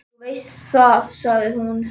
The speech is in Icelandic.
Þú veist það, sagði hún.